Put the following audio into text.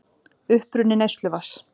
Uppruni neysluvatns.